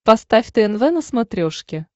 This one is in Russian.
поставь тнв на смотрешке